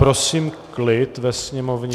Prosím klid ve sněmovně.